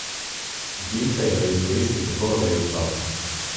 Dimka jo je izkoristil tako, da je vstal.